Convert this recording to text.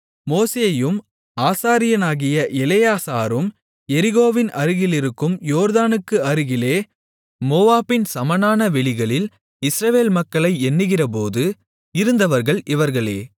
மோசேயும் ஆசாரியனாகிய எலெயாசாரும் எரிகோவின் அருகிலிருக்கும் யோர்தானுக்கு அருகிலே மோவாபின் சமனான வெளிகளில் இஸ்ரவேல் மக்களை எண்ணுகிறபோது இருந்தவர்கள் இவர்களே